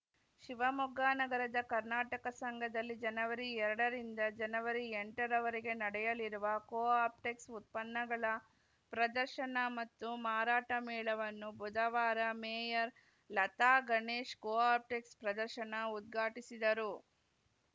ಶಿವಮೊಗ್ಗ ನಗರದ ಕರ್ನಾಟಕ ಸಂಘದಲ್ಲಿ ಜನವರಿ ಎರಡರಿಂದ ಜನವರಿ ಎಂಟರವರೆಗೆ ನಡೆಯಲಿರುವ ಕೋ ಆಪ್ಟೆಕ್ಸ್‌ ಉತ್ಪನ್ನಗಳ ಪ್ರದರ್ಶನ ಮತ್ತು ಮಾರಾಟ ಮೇಳವನ್ನು ಬುಧವಾರ ಮೇಯರ್‌ ಲತಾ ಗಣೇಶ್‌ ಕೋ ಆಪ್ಟೆಕ್ಸ್‌ ಪ್ರದರ್ಶನ ಉದ್ಘಾಟಿಸಿದರು